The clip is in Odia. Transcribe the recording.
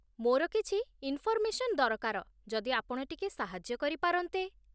ମୋର କିଛି ଇନ୍ଫର୍ମେସନ୍ ଦରକାର ଯଦି ଆପଣ ଟିକିଏ ସାହାଯ୍ୟ କରିପାରନ୍ତେ ।